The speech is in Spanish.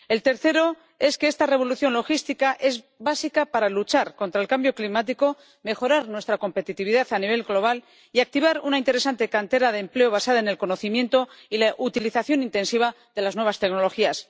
El tercero, que esta revolución logística es básica para luchar contra el cambio climático, mejorar nuestra competitividad a nivel global y activar una interesante cantera de empleo basada en el conocimiento y la utilización intensiva de las nuevas tecnologías.